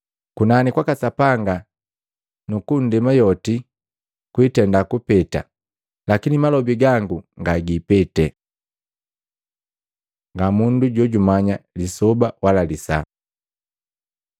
Kunani kwaka Sapanga na nndema yoti kwiitenda kupeta lakini malobi gangu ngagiipeti.” Ngamundu jojumanya lisoba wala lisaa Maluko 13:32-37; Luka 17:26-30, 34-36